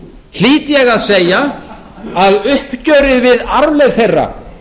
hlýt ég að segja að uppgjörið við arfleifð þeirra